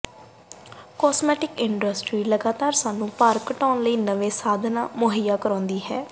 cosmetic industry ਲਗਾਤਾਰ ਸਾਨੂੰ ਭਾਰ ਘਟਾਉਣ ਲਈ ਨਵੇਂ ਸਾਧਨ ਮੁਹੱਈਆ ਕਰਦੀ ਹੈ